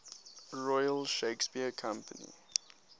royal shakespeare company